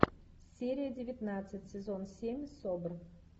серия девятнадцать сезон семь собр